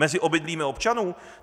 Mezi obydlími občanů?